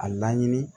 A laɲini